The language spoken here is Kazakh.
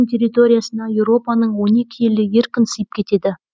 территориясына еуропаның он екі елі еркін сыйып кетеді